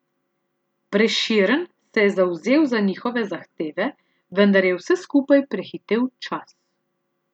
Prešeren se je zavzel za njihove zahteve, vendar je vse skupaj prehitel čas.